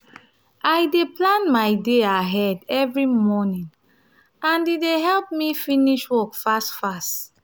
i dey plan my day ahead every morning um and e dey help me finish work fast fast.